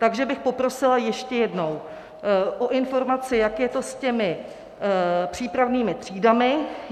Takže bych poprosila ještě jednou o informaci, jak je to s těmi přípravnými třídami.